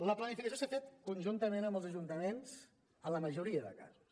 la planificació s’ha fet conjuntament amb els ajuntaments en la majoria de casos